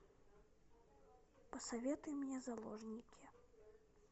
посоветуй мне заложники